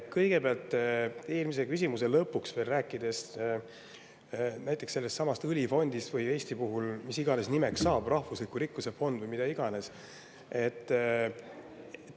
Kõigepealt, eelmise lõpuks räägin veel näiteks sellestsamast õlifondist, või mis iganes Eestis selle nimeks saab, rahvusliku rikkuse fond või mida iganes.